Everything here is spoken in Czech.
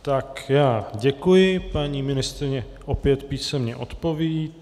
Tak já děkuji, paní ministryně opět písemně odpoví.